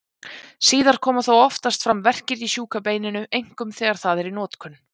Síðar koma þó oftast fram verkir í sjúka beininu, einkum þegar það er í notkun.